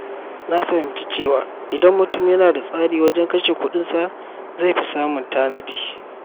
Na fahimci cewa idan mutum yana da tsari wajen kashe kuɗinsa, zai fi samun tanadi.